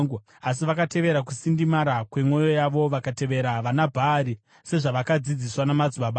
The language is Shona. Asi, vakatevera kusindimara kwemwoyo yavo; vakatevera vanaBhaari, sezvavakadzidziswa namadzibaba avo.”